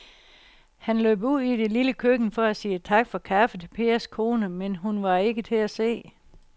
Han løb ud i det lille køkken for at sige tak for kaffe til Pers kone, men hun var ikke til at se.